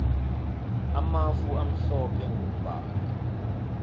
amafu amhlophe mgombala